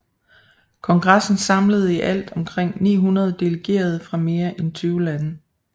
Kongressen samlede i alt omkring 900 delegerede fra mere end 20 lande